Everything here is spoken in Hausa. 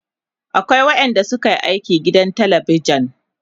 akwai waƴanda suke aiki gidan telebijan